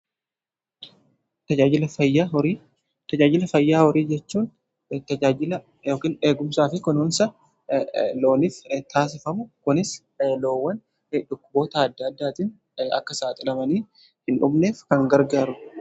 Tajaajila fayyaa horii jechuun tajaajila eegumsaa fi kunuunsa looniif taasifamu. Kunis loowwan dhukkuboota adda addaatiin akka saaxilamanii hin dhumneef kan gargaaru.